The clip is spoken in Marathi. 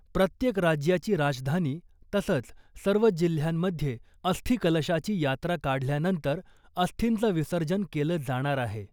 प्रत्येक राज्याची राजधानी तसंच , सर्व जिल्ह्यांमध्ये अस्थिकलशाची यात्रा काढल्यानंतर , अस्थींचं विसर्जन केलं जाणार आहे .